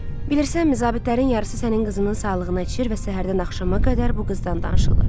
Bilirsənmi zabitlərin yarısı sənin qızının sağlığına içir və səhərdən axşama qədər bu qızdan danışırlar.